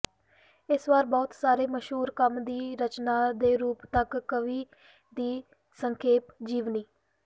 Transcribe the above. ਇਸ ਵਾਰ ਬਹੁਤ ਸਾਰੇ ਮਸ਼ਹੂਰ ਕੰਮ ਦੀ ਰਚਨਾ ਦੇ ਰੂਪ ਤੱਕ ਕਵੀ ਦੀ ਸੰਖੇਪ ਜੀਵਨੀ